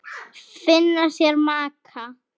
Finna sér maka.